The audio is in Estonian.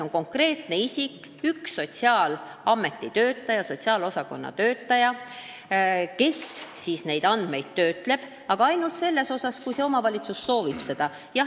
Üks konkreetne isik, sotsiaalosakonna töötaja, töötleb neid andmeid, aga ainult siis, kui omavalitsus seda soovib.